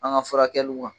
An ka furakɛliw la